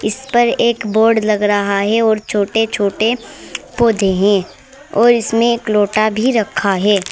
इस पर एक बोर्ड लग रहा है और छोटे छोटे पौधे हैं और इसमें एक लोटा भी रखा है।